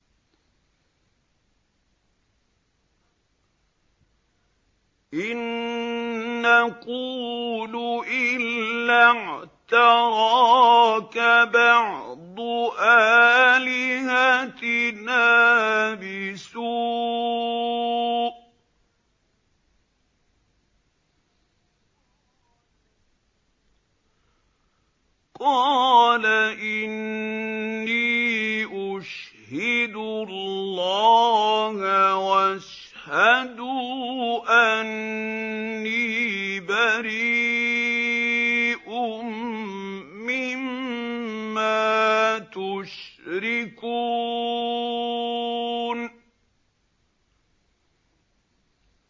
إِن نَّقُولُ إِلَّا اعْتَرَاكَ بَعْضُ آلِهَتِنَا بِسُوءٍ ۗ قَالَ إِنِّي أُشْهِدُ اللَّهَ وَاشْهَدُوا أَنِّي بَرِيءٌ مِّمَّا تُشْرِكُونَ